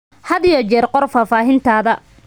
Had iyo jeer qor faahfaahintaada.